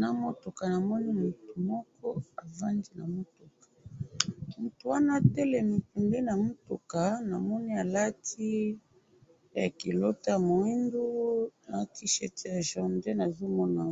na mutuka namoni muku moko avandi na mutuka ,mutu wana atelemi pembeni ya mutuka namoni alati culotte ya muindo na t-shirt ya jaune nde nazo mona